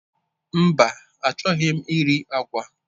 Mba, achọghị m iri agwa.